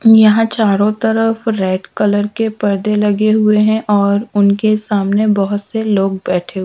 यहां चारों तरफ रेड कलर के पर्दे लगे हुए हैं और उनके सामने बहुत से लोग बैठे हुए हैं।